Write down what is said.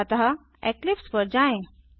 अतः इक्लिप्स पर जाएँ